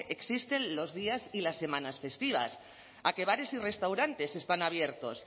existen los días y las semanas festivas a que bares y restaurantes están abiertos